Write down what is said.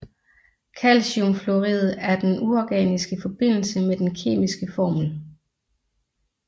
Calciumfluorid er den uorganiske forbindelse med den kemiske formel